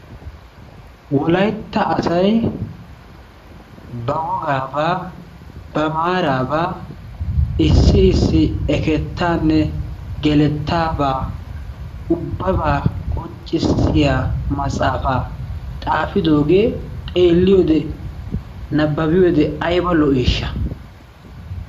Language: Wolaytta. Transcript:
Wolaytta asayi ba wogaabaa ba maaraabaa issi issi ekettaanne gelettaabaa ubbabaa qonccissiya maxaafaa xaafidoogee xeelkiyode nabbabiyode ayba lo"iishsha.